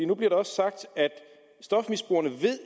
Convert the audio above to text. nu bliver der også sagt at stofmisbrugerne